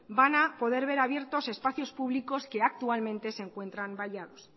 van a poder ver abiertos espacios públicos que actualmente se encuentran vallados